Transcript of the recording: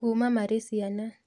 Kuuma marĩ ciana